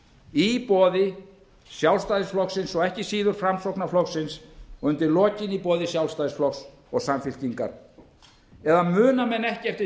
í boði sjálfstæðisflokksins og ekki síður framsóknarflokksins og undir lokin í boði sjálfstæðisflokks og samfylkingar eða muna menn ekki eftir